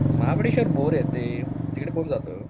Mahabaleshwar bore आहे ते तिकडे कोण जातं